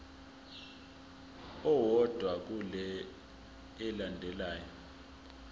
owodwa kule elandelayo